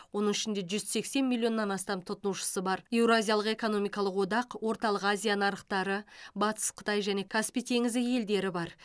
оның ішінде жүз сексен миллионнан астам тұтынушысы бар еуразиялық экономикалық одак орталық азия нарықтары батыс қытай және каспий теңізі елдері бар